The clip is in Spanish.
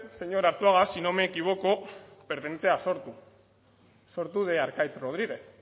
señor arzuaga si no me equivoco pertenece a sortu sortu de arkaitz rodriguez